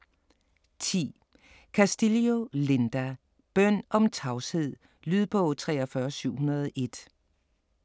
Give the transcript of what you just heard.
10. Castillo, Linda: Bøn om tavshed Lydbog 43701